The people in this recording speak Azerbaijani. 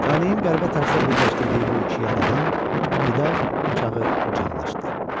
Talehin qəribə tərzdə birləşdirdiyi bu iki yad adam vida çağı qucaqlaşdı.